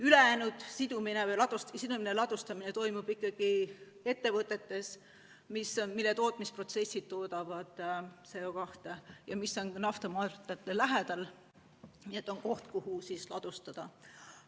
Ülejäänud sidumine või sidumine ja ladustamine toimub ikkagi ettevõtetes, mille tootmisprotsessides toodetakse CO2 ja mis on naftamaardlate lähedal, nii et on koht, kuhu ladustada.